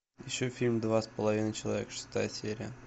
ищу фильм два с половиной человека шестая серия